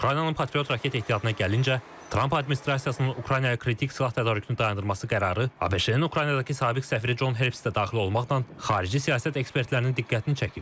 Ukraynanın patriot raket ehtiyatına gəlincə, Tramp administrasiyasının Ukraynaya kritik silah tədarükünü dayandırması qərarı ABŞ-ın Ukraynadakı sabiq səfiri Con Herbst də daxil olmaqla xarici siyasət ekspertlərinin diqqətini çəkib.